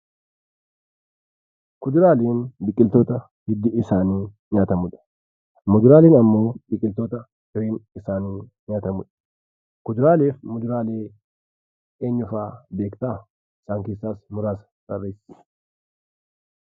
Kuduraawwan biqiltoota hiddi isaanii nyaatamuudha. Muduraan immoo biqiltoota fireen isaanii nyaatamudha. Kuduraalee fi muduraalee eenyu fa'aa beektaa? Isaan keessaas muraasa tarreessi